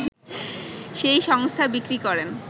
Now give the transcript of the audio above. সেই সংস্থা বিক্রি করেন